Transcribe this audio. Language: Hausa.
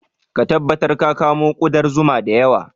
Ka tabbatar ka kamo ƙudar zuma da yawa